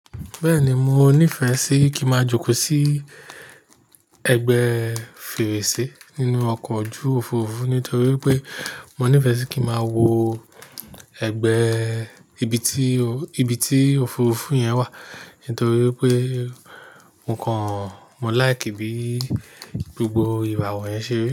Bẹ́ẹ̀ni, mo níìfẹ̀ sí kí màá jókòó sí ẹgbẹ́ fèrèsé nínú ọkọ̀ ojú Òfurufú nítorí pé mo nífẹ̀ẹ́ sí kí màá wo ẹgbẹ́ ibi tí, ibi tí Òfurufú yẹn wà. Nítorí pé mo kàn, mo láìkì bí gbogbo ìrawo yen ṣe rí.